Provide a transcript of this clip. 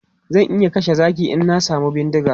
Zan iya kashe zaki in na samu bindiga.